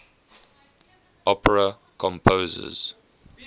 opera composers